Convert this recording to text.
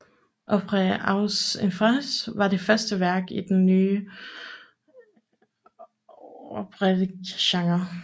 Orphee aux enfers var det første værk i den nye operettegenre